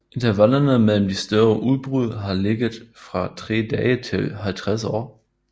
Intervallerne mellem de større udbrud har ligget fra tre dage til 50 år